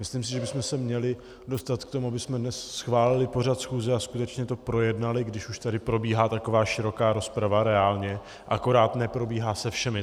Myslím si, že bychom se měli dostat k tomu, abychom dnes schválili pořad schůze a skutečně to projednali, když už tady probíhá taková široká rozprava reálně, akorát neprobíhá se všemi.